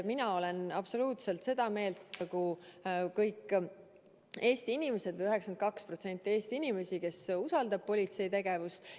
Mina olen absoluutselt sama meelt 92%-ga Eesti inimestest, kes usaldab politsei tegevust.